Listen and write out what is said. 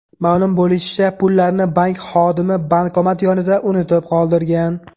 Ma’lum bo‘lishicha, pullarni bank xodimi bankomat yonida unutib qoldirgan.